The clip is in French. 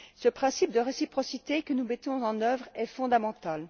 Ce principe de réciprocité que nous mettons en œuvre est fondamental.